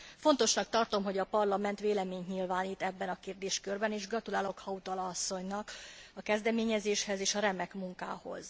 Fontosnak tartom, hogy a Parlament véleményt nyilvánít ebben a kérdéskörben, és gratulálok Hautala asszonynak a kezdeményezéshez és a remek munkához.